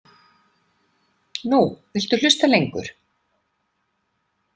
Nú viltu hlusta lengur.